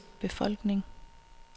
befolkning